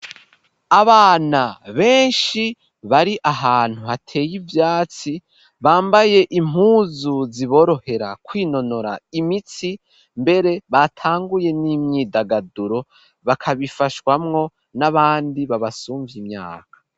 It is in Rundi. Abana benshi bari ahantu hateye ivyatsi, bambaye impuzu ziborohera kwinonora imitsi, mbere batanguye n'imyidagaduro, bakabifashwamwo n'abandi babasumvya imyaka.